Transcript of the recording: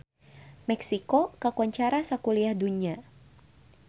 Meksiko kakoncara sakuliah dunya